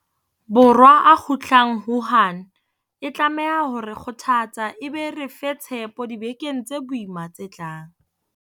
Borwa a kgutlang Wuhan e tlameha ho re kgothatsa e be e re fe tshepo dibekeng tse boima tse tlang.